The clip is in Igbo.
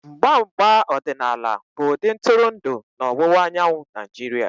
Mgba mgba ọdịnaala bụ-ụdị ntụrụndụ na ọwụwa anyanwụ Naijiria.